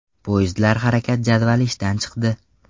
Poyezdlar harakat jadvali ishdan chiqdi.